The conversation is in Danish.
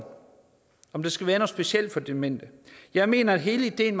om der skal være specielt for demente jeg mener at hele ideen